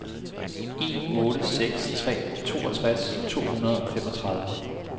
en otte seks tre toogtres to hundrede og femogtredive